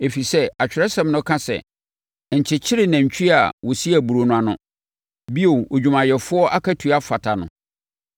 Ɛfiri sɛ, Atwerɛsɛm no ka sɛ, “Nkyekyere nantwie a ɔsi aburoo no ano!” Bio, “Odwumayɛfoɔ akatua fata no!”